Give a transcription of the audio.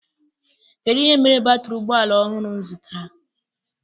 Kedụ ihe mere batiri ụgbọala ọhụụ m zụtara?